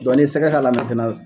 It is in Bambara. Dɔnku n'i ye sɛgɛ k'a la